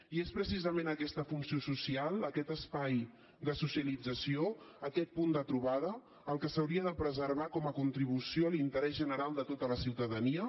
i és precisament aquesta funció social aquest espai de socialització aquest punt de trobada el que s’hauria de preservar com a contribució a l’interès general de tota la ciutadania